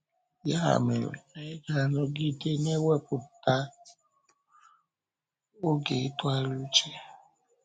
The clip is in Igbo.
Ya mere, anyị na-anọgide na-ewepụta oge ịtụgharị uche.